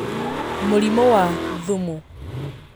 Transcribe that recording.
Mũrimũ wa thumu